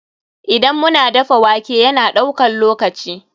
Idan mu na dafa wake, ya na daukan lokaci.